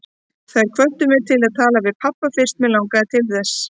Þær hvöttu mig til að tala við pabba fyrst mig langaði til þess.